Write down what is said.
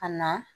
Ka na